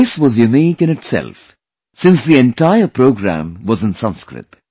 This was unique in itself, since the entire program was in Sanskrit